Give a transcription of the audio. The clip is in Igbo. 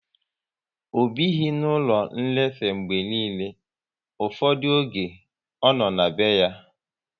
Ọ bighi n'ụlọ nlefe mgbe niile, ụfọdụ oge ọ nọ na be ya